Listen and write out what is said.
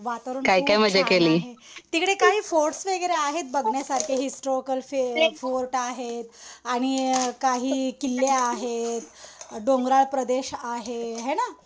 वातावरण खूप छान आहे. तिकडे काही फोर्ट्स वगैरे आहेत बघण्यासारखे. हिस्टोरिकल फोर्ट आहे. आणि काही किल्ले आहेत. डोंगराळ प्रदेश आहे है ना.